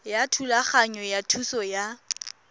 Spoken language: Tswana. ya thulaganyo ya thuso ya